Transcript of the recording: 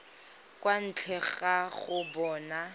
kwa ntle ga go bona